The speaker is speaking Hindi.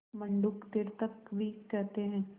मंडूक तीर्थक भी कहते हैं